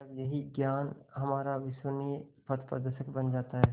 तब यही ज्ञान हमारा विश्वसनीय पथप्रदर्शक बन जाता है